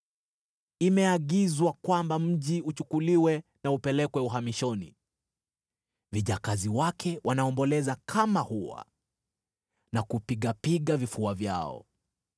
Imeagizwa kwamba mji uchukuliwe na upelekwe uhamishoni. Vijakazi wake wanaomboleza kama hua na kupigapiga vifua vyao.